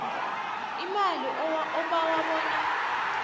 imali obawa bona